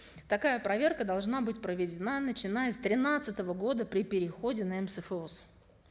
такая проверка должна быть проведена начиная с тринадцатого года при переходе на мсфос